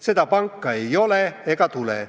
"Seda panka ei ole ega tule.